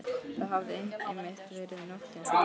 Það hafði einmitt verið nótt einsog núna.